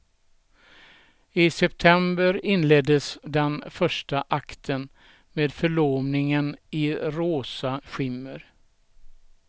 I september inleddes den första akten med förlovningen i rosa skimmer.